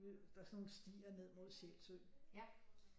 Der er sådan nogle stier ned imod Sjælsø